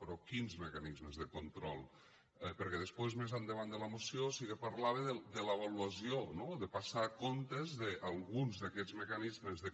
però quins mecanismes de control perquè després més endavant de la moció sí que parlava de l’avaluació no de passar comptes d’alguns d’aquests mecanismes de